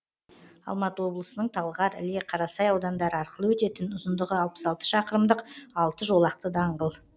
алматы облысының талғар іле қарасай аудандары арқылы өтетін ұзындығы алпыс алты шақырымдық алты жолақты даңғыл